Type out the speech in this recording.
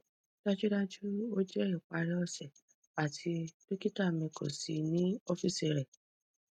dajudaju o jẹ ipari ose ati dokita mi ko si ni ọfiisi rẹ